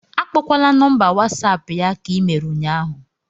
Akpọkwala nọmba whatsapp ya ka i mere ụnyahụ